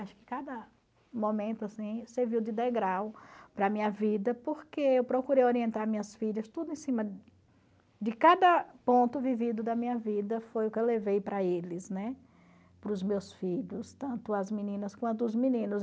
Acho que cada momento assim serviu de degrau para a minha vida, porque eu procurei orientar minhas filhas tudo em cima de cada ponto vivido da minha vida, foi o que eu levei para eles, né, para os meus filhos, tanto as meninas quanto os meninos.